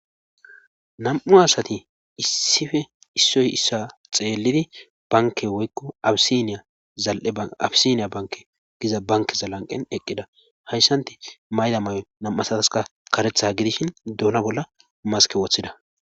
nam7u asati issife issoy issa xeellidi banke woykko yazal7e abisiniya banke giza banke zalanqen eqqida hayssanti mayda may7o nam7usataska karetha gidishin duuna bolla maske woththida